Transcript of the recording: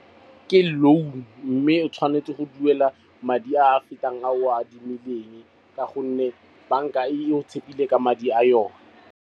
Ke loan mme o tshwanetse go duela madi a fetang ao a adimileng, ka gonne banka e go tshepile ka madi a yone.